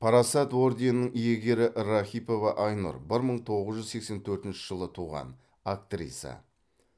парасат орденінің иегері рахипова айнұр бір мың тоғыз жүз сексен төртінші жылы туған актриса